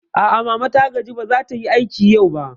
A'a, mama wai ta gaji ba zatayi aiki yau ba